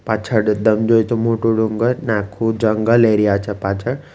પાછળ એકદમ જોઈ તો મોટો ડુંગર ને આખુ જંગલ એરિયા છે પાછળ.